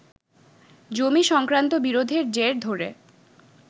জমি সংক্রান্ত বিরোধের জের ধরে